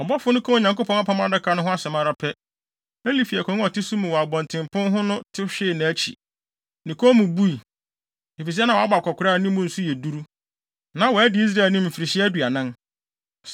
Ɔbɔfo no kaa Onyankopɔn Apam Adaka no ho asɛm ara pɛ, Eli fi akongua a ɔte so mu wɔ abɔntenpon ho no te hwee nʼakyi. Ne kɔn mu bui, efisɛ na wabɔ akwakoraa a ne mu nso yɛ duru. Na wadi Israel anim mfirihyia aduanan.